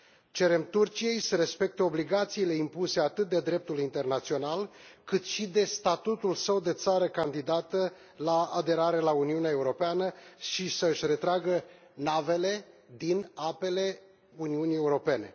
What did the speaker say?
Cerem Turciei să respecte obligațiile impuse atât de dreptul internațional, cât și de statutul său de țară candidată la aderare la Uniunea Europeană și să și retragă navele din apele Uniunii Europene.